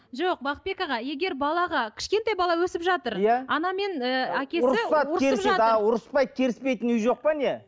жоқ бақытбек аға егер балаға кішкентай бала өсіп жатыр иә ұрыспай керіспейтін үй жоқ па не